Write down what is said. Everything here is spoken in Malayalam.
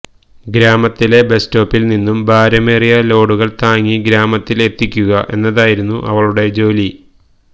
ഗ്രാമത്തിലെ ബസ്റ്റോപ്പിൽ നിന്നും ഭാരമേറിയ ലോഡുകൾ താങ്ങി ഗ്രാമത്തിൽ എത്തിക്കുക എന്നതായിരുന്നു അവളുടെ ജോലി